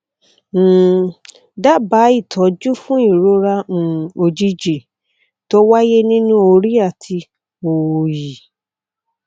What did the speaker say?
um dábàá ìtọjú fún ìrora um òjijì tó wáyé nínú orí àti òòyì